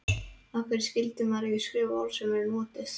Af hverju skyldi maður ekki skrifa orð sem eru notuð?